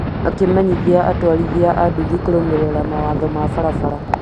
akĩmenyithia atwarithia a nduthi kũrũmĩrĩra mawatho ma barabara